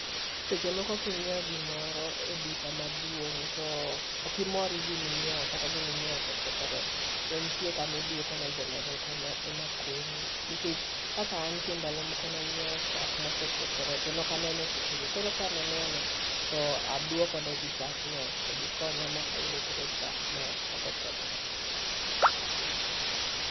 Seche moko ka inyiewo gimoro eduka maduong', to ok imor gi gima inyiewo kata gima inyiewo osekethore, to nitie kama iduoko ne joma chal kama ema konyi. Nikech kaka an nitie ndalo moko ne anyiewo chak mosekethore to ne ok aneno sechego, koro kane aneno to aduoko negi chagno to gikonya ma ayudo koro chak ma ok okethore.